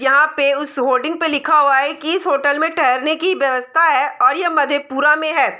यहाँ पे उस होर्डिंग पे लिखा हुआ है की इस होटल में ठहरने की व्यवस्था है और यह मधेपुरा में है।